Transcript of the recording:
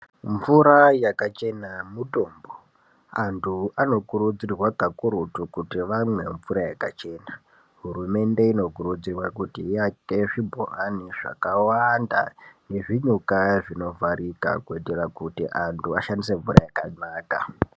Mvura yakachena mutombo. Antu anokurudzirwa kakurutu kuti vamwe mvura yakachena. Hurumende inokurudzirwa kuti iyake zvibhorani zvakawanda nezvinyoka zvinovharika, kuitira kuti antu ashandise mvura yakanaka.